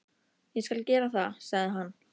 Ég skal gera það, sagði hann.